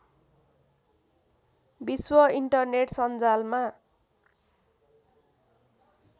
विश्व इन्टरनेट सञ्जालमा